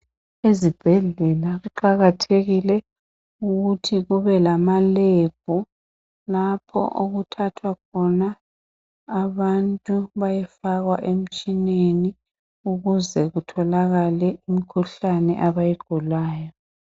Ezibhedlela kuqakathekile ukuthi kube lamalab lapho okuthathwa khona abantu beyefakwa emtshineni ukuze kutholakala imkhuhlane abayigulayo.